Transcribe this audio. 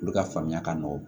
Olu ka faamuya ka nɔgɔn